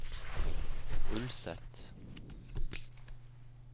Ulset